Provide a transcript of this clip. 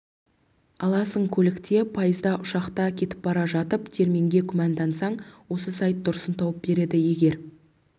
аласың көлікте пойызда ұшақта кетіп бара жатып терминге күмәндансаң осы сайт дұрысын тауып береді егер